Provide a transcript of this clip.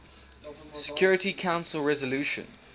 security council resolution